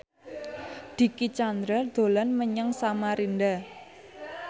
Dicky Chandra dolan menyang Samarinda